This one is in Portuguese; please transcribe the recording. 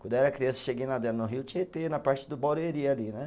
Quando eu era criança, eu cheguei nadando no rio Tietê, na parte do Barueri, ali, né?